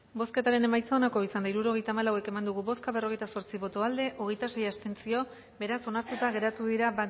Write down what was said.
bozketaren emaitza onako izan da hirurogeita hamalau eman dugu bozka berrogeita zortzi boto aldekoa hogeita sei abstentzio beraz onartuta geratu dira